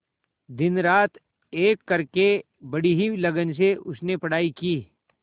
दिनरात एक करके बड़ी ही लगन से उसने पढ़ाई की